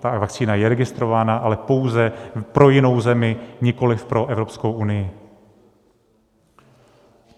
Ta vakcína je registrována, ale pouze pro jinou zemi, nikoliv pro Evropskou unii.